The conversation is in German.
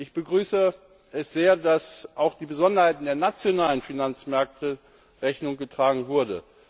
Ich begrüße es sehr, dass auch den Besonderheiten der nationalen Finanzmärkte Rechnung getragen wurde.